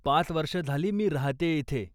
पाच वर्ष झाली मी राहतेय इथे.